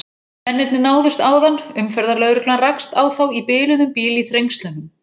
Mennirnir náðust áðan, umferðarlögreglan rakst á þá í biluðum bíl í Þrengslunum.